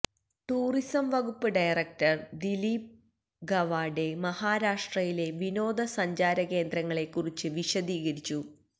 tourism വകുപ്പ് director Dilip Gawade മഹാരാഷ്ട്രയിലെ വിനോദസഞ്ചാര കേന്ദ്രങ്ങളെക്കുറിച്ച് വിശദീകരിച്ചു